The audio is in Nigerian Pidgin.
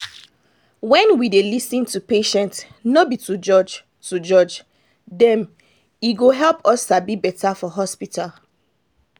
wen we dey lis ten to patients no be to judge to judge dem e go help us sabi better for hospital.